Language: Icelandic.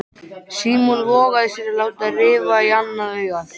Símon vogaði sér að láta rifa í annað augað.